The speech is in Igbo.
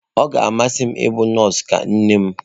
Ọ ga-amasị m ịbụ nọọsụ ka nne m.